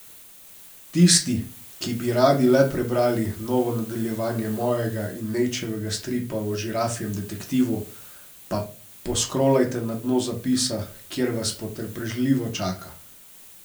Tisti, ki bi radi le prebrali novo nadaljevanje mojega in Nejčevega stripa o žirafjem detektivu, pa poskrolajte na dno zapisa, kjer vas potrpežljivo čaka.